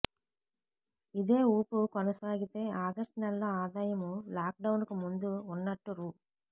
ఇదే ఊపు కొనసాగితే ఆగస్టు నెలలో ఆదాయం లాక్డౌన్కు ముందు ఉన్నట్టు రూ